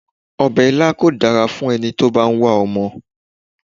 Obè ilá kò dára fún eni tó bá n wá omo